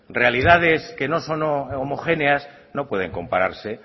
realidades que no son homogéneas no pueden compararse